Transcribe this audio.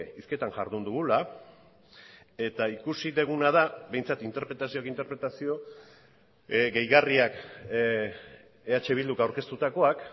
hizketan jardun dugula eta ikusi duguna da behintzat interpretazioak interpretazio gehigarriak eh bilduk aurkeztutakoak